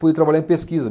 Pude trabalhar em pesquisa.